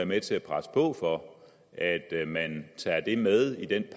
med til at presse på for at man tager det med i den